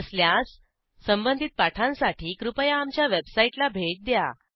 नसल्यास संबंधित पाठांसाठी कृपया आमच्या वेबसाईटला भेट द्या